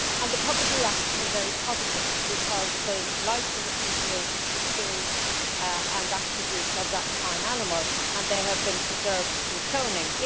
The public reaction was very positive, because they liked and appreciated the skills and attributes of that fine animal and that they had been preserved through cloning.